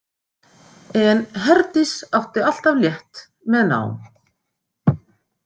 En Herdís átti alltaf létt með nám.